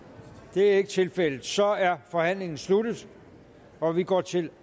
det er ikke tilfældet så er forhandlingen sluttet og vi går til